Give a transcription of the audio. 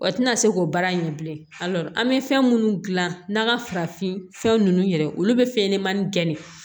O tina se k'o baara in kɛ bilen alɔri an be fɛn munnu gilan n'an ga farafinfɛn nunnu yɛrɛ olu be fɛn ɲɛnɛmani gɛn de